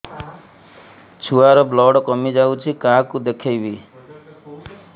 ଛୁଆ ର ବ୍ଲଡ଼ କମି ଯାଉଛି କାହାକୁ ଦେଖେଇବି